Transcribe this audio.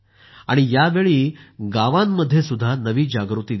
यावेळी गावांमध्ये देखील नवी जागृती दिसते आहे